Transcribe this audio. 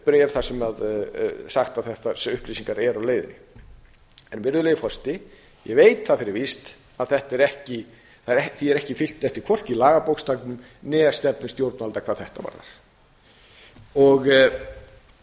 bréf þar sem er sagt að þessar upplýsingar séu á leiðinni en ég veit það fyrir víst að því er ekki fylgt eftir hvorki í lagabókstaf né stefnu stjórnvalda hvað þetta varðar